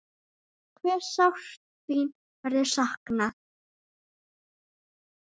Hve sárt þín verður saknað.